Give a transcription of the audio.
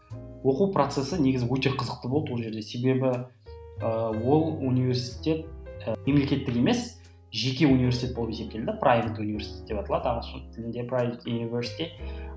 оқу процесі негізі өте қызықты болды ол жерде себебі ы ол университет ы мемлекеттік емес жеке университет болып есептелді прайвет университет деп аталады ағылшын тілінде